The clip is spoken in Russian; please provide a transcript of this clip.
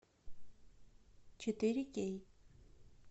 четыре кей